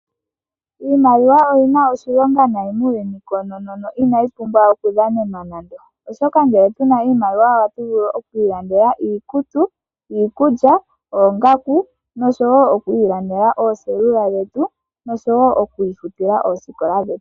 Iimaliwa oyi na oshilonga nayi muuyuni koonoo, inayi pumbwa okudhanenwa nande. Ngele puna oshimaliwa ohatu vulu okwiilandela iikutu, iikulya, nosho wo okwiilandela ooselula dhetu, osho wo okwiifutila oosikola dhetu.